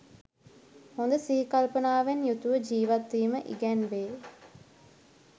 හොඳ සිහිකල්පනාවෙන් යුතුව ජීවත්වීම ඉගැන්වේ.